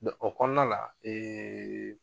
De o kɔnɔna la ee